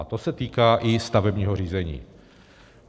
A to se týká i stavebního řízení.